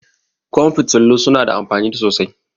Ƙwan fitilu su na da amfani sosai